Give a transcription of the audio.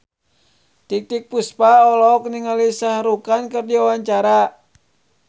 Titiek Puspa olohok ningali Shah Rukh Khan keur diwawancara